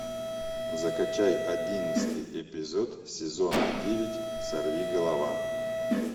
закачай одиннадцатый эпизод сезона девять сорвиголова